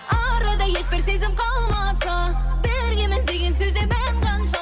арада ешбір сезім қалмаса біргеміз деген сөзде мән қанша